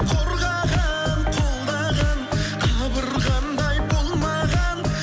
қорғаған қолдаған қабырғамдай болмаған